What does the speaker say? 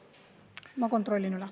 Ma kontrollin üle.